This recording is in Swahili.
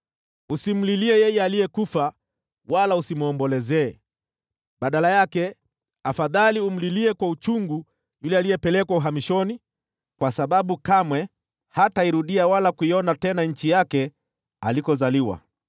Usimlilie yeye aliyekufa, wala usimwombolezee; badala yake, afadhali umlilie kwa uchungu yule aliyepelekwa uhamishoni, kwa sababu kamwe hatairudia wala kuiona tena nchi yake alikozaliwa.